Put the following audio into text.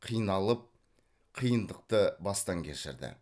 қиналып қиындықты бастан кешірді